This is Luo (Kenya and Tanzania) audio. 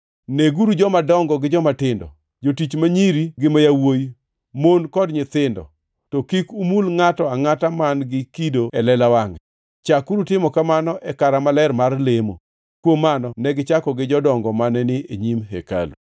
Neguru jomadongo gi jomatindo, jotich ma nyiri gi ma yawuowi, mon kod nyithindo, to kik umul ngʼato angʼata man-gi kido e lela wangʼe. Chakuru timo kamano e kara maler mar lemo.” Kuom mano negichako gi jodongo mane ni e nyim hekalu.